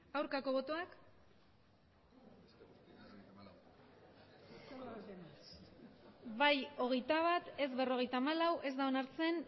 aurkako botoak emandako botoak hirurogeita hamabost bai hogeita bat ez berrogeita hamalau ez da onartzen